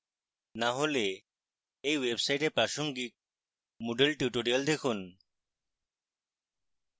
না হলে এই website প্রাসঙ্গিক moodle tutorials দেখুন